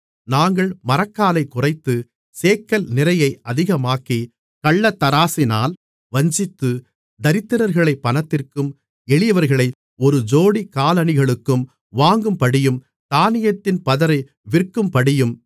நாங்கள் மரக்காலைக் குறைத்து சேக்கல் நிறையை அதிகமாக்கி கள்ளத்தராசினால் வஞ்சித்து தரித்திரர்களைப் பணத்திற்கும் எளியவர்களை ஒரு ஜோடி காலணிகளுக்கும் வாங்கும்படியும் தானியத்தின் பதரை விற்கும்படியும்